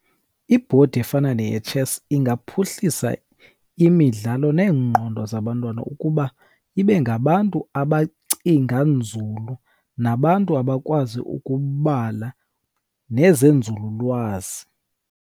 Ibhodi efana neyetshesi ingaphuhlisa imidlalo neengqondo zabantwana, ukuba ibe ngabantu abacinga nzulu, nabantu abakwazi ukubala nezenzululwazi.